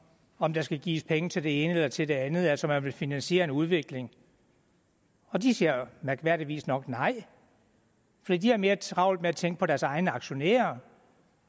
om der skal gives penge til det ene eller til det andet altså om man vil finansiere en udvikling de siger mærkværdigvis nok nej fordi de har mere travlt med at tænke på deres egne aktionærer